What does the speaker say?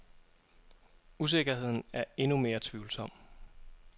Usikkerheden er endnu mere tvivlsom.